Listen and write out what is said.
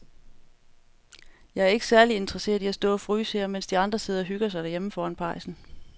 Jeg er ikke særlig interesseret i at stå og fryse her, mens de andre sidder og hygger sig derhjemme foran pejsen.